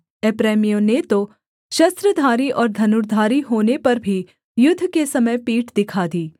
एप्रैमियों ने तो शस्त्रधारी और धनुर्धारी होने पर भी युद्ध के समय पीठ दिखा दी